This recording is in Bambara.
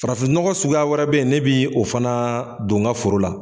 Farafin nɔgɔ suguya wɛrɛ bɛ yen, ne bi o fana don n ga foro la.